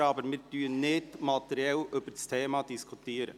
Wir diskutieren aber nicht materiell über die Themen.